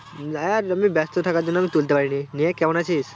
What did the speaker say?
হ্যাঁ, আমি ব্যাস্ত থাকার জন আমি তুলতে পারিনি দিয়ে কেমন আছিস